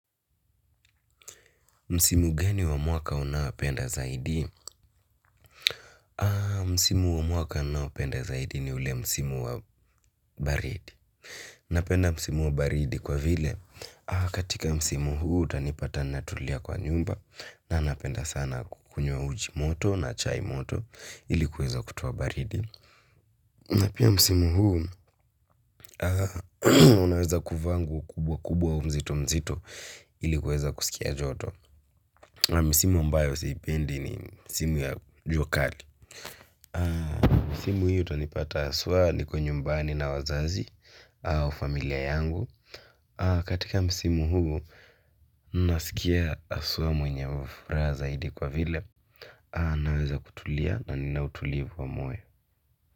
Msimu gani wa mwaka una penda zaidi? Msimu wa mwaka ninaopenda zaidi ni ule msimu wa baridi. Napenda msimu wa baridi kwa vile, aar katika msimu huu utanipata natulia kwa nyumba. Na napenda sana kukunywa uji moto na chai moto ilikuweza kutuwa baridi. Napia msimu huu, unaweza kuvaa nguo kubwa kubwa mzito mzito ilikuweza kusikia joto. Misimu ambayo si ipendi ni simu ya jua kali. Misimu hiyo tanipata haswa niko nyumbani na wazazi au familia yangu. Katika misimu huu, nasikia haswa mwenye ufuraha zaidi kwa vile, naweza kutulia na ninautulivu wa mwe.